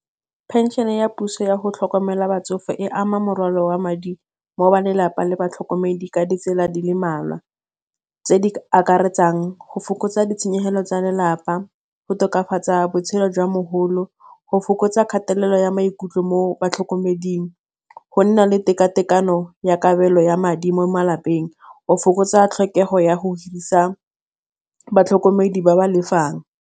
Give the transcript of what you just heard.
Pension-e ya puso yago tlhokomela batsofe e ama morwalo wa madi mo ba lelapa le batlhokomedi ka ditsela di le malwa, tse di akaretsang go fokotsa ditshenyegelo tsa lelapa, go tokafatsa botshelo jwa mogolo, go fokotsa kgatelelo ya maikutlo mo batlhokomeding, go nna le tekatekano ya kabelo ya madi mo malapeng, o fokotsa tlhokego ya go hirisa batlhokomedi ba ba lefang.